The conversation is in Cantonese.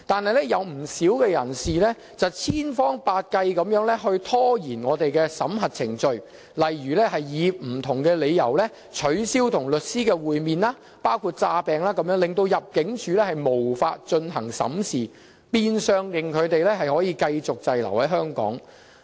可是，有不少人士千方百計拖延審核程序，例如以不同理由取消與律師會面，包括裝病，令入境事務處無法進行審視，變相令他們能繼續滯留香港。